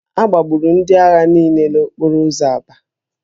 A gbagburu ndị agha niile n'okporo ụzọ Aba